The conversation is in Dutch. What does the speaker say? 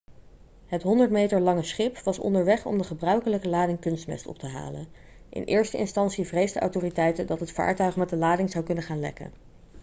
het 100 meter lange schip was onderweg om de gebruikelijke lading kunstmest op te halen in eerste instantie vreesden autoriteiten dat het vaartuig met de lading zou kunnen gaan lekken